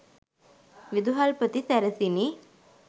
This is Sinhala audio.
විදුහල්පති සැරසිණි